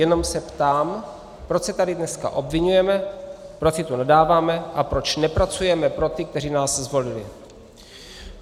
Jenom se ptám, proč se tady dneska obviňujeme, proč si tu nadáváme a proč nepracujeme pro ty, kteří nás zvolili.